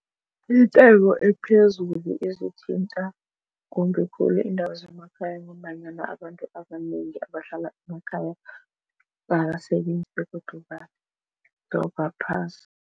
Intengo ephezulu izithinta kumbi khulu iindawo zemakhaya ngombanyana abantu abanengi abahlala emakhaya abasebenzi begodu badobha phasi.